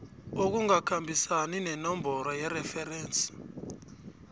okungakhambisani nenomboro yereferensi